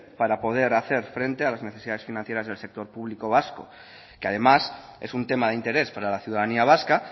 para poder hacer frente a las necesidades financieras del sector público vasco que además es un tema de interés para la ciudadanía vasca